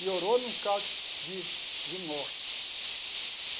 Melhorou no caso de de morte.